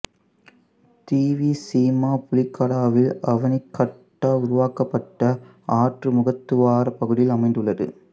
திவிசீமா புலிகடாவில் அவணிகட்டா உருவாக்கப்பட்ட ஆற்று முகத்துவாரப் பகுதியில் அமைந்துள்ளது